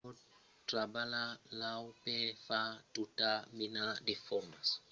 se pòt trabalhar l'aur per far tota mena de formas. pòt èsser enrotlat be dins de formas pichonèlas